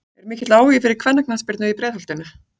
Er mikill áhugi fyrir kvennaknattspyrnu í Breiðholtinu?